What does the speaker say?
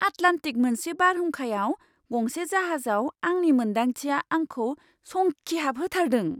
Atlantic मोनसे बारहुंखायाव गंसे जाहाजाव आंनि मोन्दांथिआआंखौ संखिहाबहोथारदों।